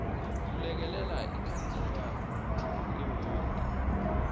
kulekelela ikhansela lewodi